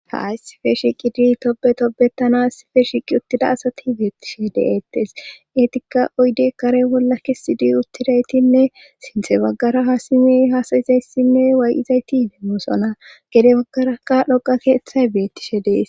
ha issife shiqidi tobe tobetana issife shiqi uttida asati beettishe de'eettes eetikka oyde kare bolla kesidi uttidaytinne sinthe baggara hasimey haasayizayssinne way7izayti demoosona gede baggaraka dhoqa keeththay beettishe de'es